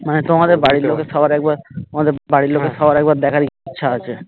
মানে তোমাদের বাড়ির লোকের সবার একবার তোমাদের বাড়ির লোকের সবার একবার দেখার ইচ্ছা আছে